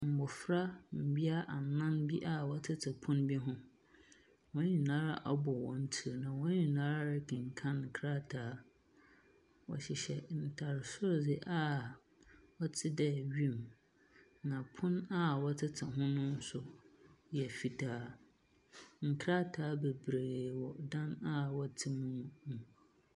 Mbofra mbea anan bi a wɔtete pon bi ho. Hɔnyinaa abɔ hɔn tsir na wɔn nyinaa rekekan nkrataa. Wɔhyehyɛ ntar soro dze a ɔte dɛ wim, na pon a wɔtete ho no nso yɛ fitaa. Nkrataa bebree wɔ dan a wɔte mu no mu.